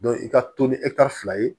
i ka to ni fila ye